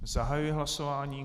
Zahajuji hlasování.